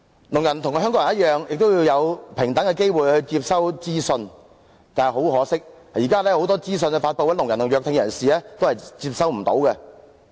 聾人與香港人一樣，都要有平等的機會去接收資訊，但很可惜，現時有很多資訊的發布，聾人及弱聽人士都接收不到。